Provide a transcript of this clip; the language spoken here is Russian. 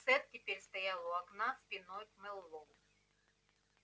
сатт теперь стоял у окна спиной к мэллоу